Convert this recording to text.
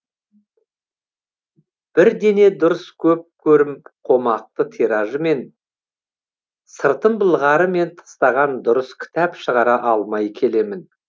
бір дене дұрыс көп көрім қомақты тиражымен сыртын былғары мен тыстаған дұрыс кітап шығара алмай келемін